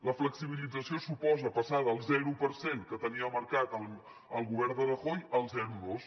la flexibilització suposa passar del zero per cent que tenia marcat el govern de rajoy al zero coma dos